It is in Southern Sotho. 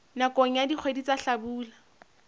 nakong ya dikgwedi tsa hlabula